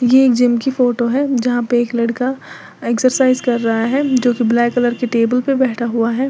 यह एक जिम की फोटो है यहां पे एक लड़का एक्सरसाइज कर रहा है जो कि ब्लैक कलर के टेबल पे बैठा हुआ है।